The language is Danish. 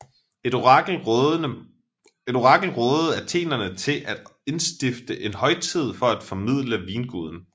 Et orakel rådede athenerne til at indstifte en højtid for at formilde vinguden